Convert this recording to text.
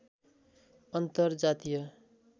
अन्तर जातीय